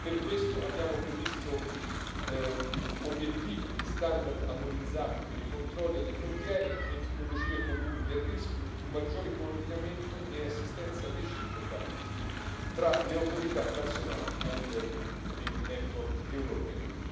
Per questo abbiamo previsto obiettivi e standard armonizzati per i controlli alle frontiere, metodologie comuni del rischio, un maggiore coordinamento e assistenza reciproca tra le autorità nazionali a livello del network europeo.